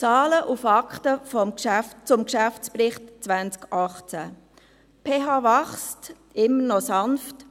Zahlen und Fakten zum Geschäftsbericht 2018: Die PH wächst immer noch sanft.